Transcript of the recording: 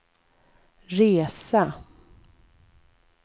resa